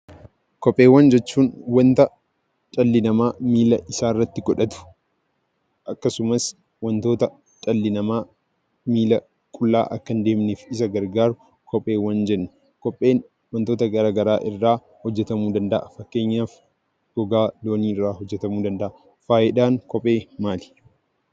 Kopheewwan jechuun kan dhalli namaa miila isaatti godhatu akkasumas dhala namaa akka miila qullaa hin deemne kan isa gargaaru kopheewwan jenna. Kopheen gosa garagaraa irraa hojjetama fakkeenyaaf gogaa loonii irraa hojjetamuu danda'a.